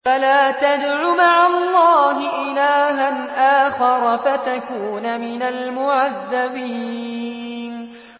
فَلَا تَدْعُ مَعَ اللَّهِ إِلَٰهًا آخَرَ فَتَكُونَ مِنَ الْمُعَذَّبِينَ